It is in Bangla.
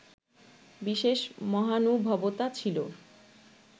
বিশেষ মহানুভবতা ছিল